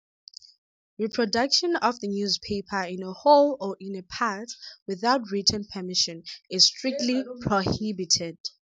Reproduction of the newspaper in whole or in part without written permission is strictly prohibited.